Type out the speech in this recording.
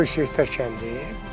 Böyük Seyidlər kəndi.